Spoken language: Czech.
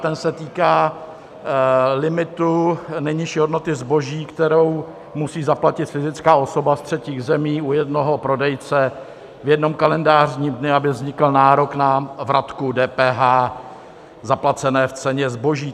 Ten se týká limitu nejnižší hodnoty zboží, kterou musí zaplatit fyzická osoba z třetích zemí u jednoho prodejce v jednom kalendářním dnu, aby vznikl nárok na vratku DPH zaplacené v ceně zboží.